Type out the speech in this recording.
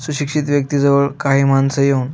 सुशिक्षित व्यक्ति जवळ काही मानस येऊन--